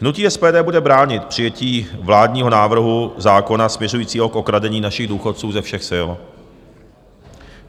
Hnutí SPD bude bránit přijetí vládního návrhu zákona směřujícího k okradení našich důchodců ze všech sil.